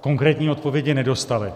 konkrétní odpovědi nedostali.